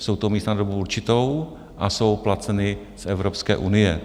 Jsou to místa na dobu určitou a jsou placena z Evropské unie.